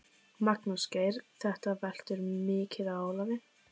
Magnús Geir: Þetta veltur mikið á Ólafi?